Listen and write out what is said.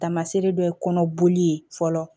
Taamaseere dɔ ye kɔnɔ boli ye fɔlɔ